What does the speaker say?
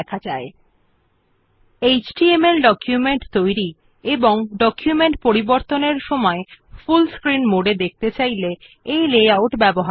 this is useful when you want to create HTML documents as well as when you want to view the document in full screen mode for editing them